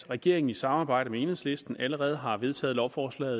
regeringen i samarbejde med enhedslisten allerede har vedtaget lovforslag